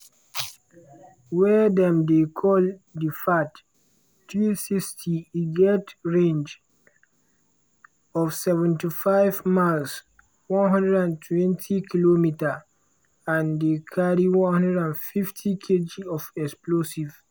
wey dem dey call di fath-360 e get range of 75 miles (120km) and dey carry 150kg of explosives.